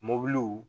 Mobiliw